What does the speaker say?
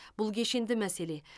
бұл кешенді мәселе